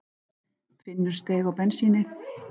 Finnur steig á bensínið